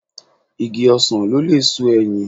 Igi ọsàn lò lè so ẹyìn